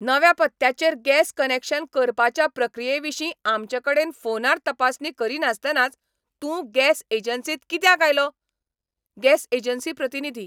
नव्या पत्त्याचेर gas connection करपाच्या प्रक्रियेविशीं आमचेकडेन फोनार तपासणी करीनासतनाच तूं गॅस एजन्सींत कित्याक आयलो? गॅस एजन्सी प्रतिनिधी